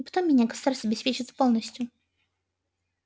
и потом меня государство обеспечивает полностью